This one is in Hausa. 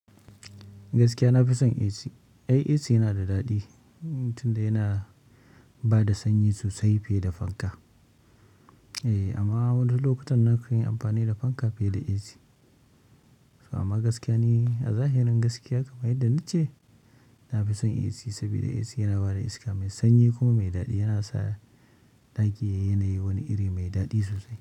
Gaskiya nafi son AC. Ai AC yana da daɗi, in mutum dai yana bada sanyi sosai fine da fanka. Eh, amma wani lokutan na kan yi amfani da fanka fiye da AC. Amma gaskiya ni, a zahirin gaskiya kamar yadda nace, nafi son AC saboda AC yana bada iska mai sanyi kuma mai daɗi yana sa ɗaki yayi yanayi wani iri mai daɗi sosai.